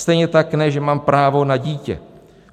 Stejně tak ne, že mám právo na dítě.